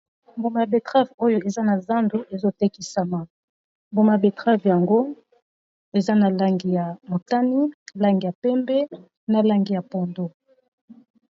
Mboma ya betrave oyo eza na zando ezotekisama mboma a betrave yango eza na langi ya motani, langi ya pembe , na langi ya pondu.